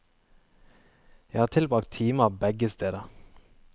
Jeg har tilbragt timer begge steder.